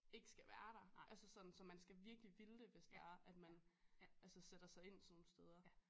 Ikke skal være der altså sådan så man skal virkelig ville det hvis det er at man altså sætter sig ind sådan nogen steder